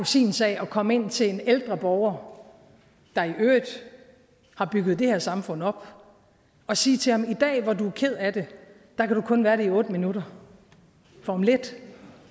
sin sag at komme ind til en ældre borger der i øvrigt har bygget det her samfund op og sige til ham i dag hvor du er ked af det kan du kun være det i otte minutter for om lidt